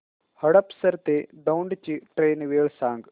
हडपसर ते दौंड ची ट्रेन वेळ सांग